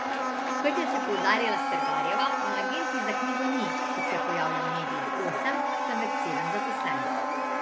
Kot je še poudarila Stergarjeva, na agenciji za knjigo ni, kot se pojavlja v medijih, osem, temveč sedem zaposlenih.